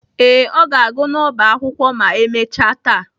Ee, ọ ga-agụ n'ọba akwụkwọ ma emechaa taa